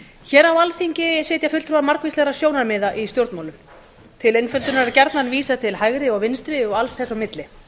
hér á alþingi sitja fulltrúar margvíslegra sjónarmiða í stjórnmálum til einföldunar er gjarnan vísað til hægri og vinstri og alls þess á milli